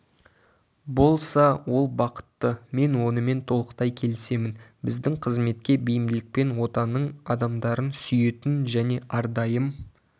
болса ол бақытты мен онымен толықтай келісемін біздің қызметке бейімділікпен отаның адамдарын сүйетін және әрдайым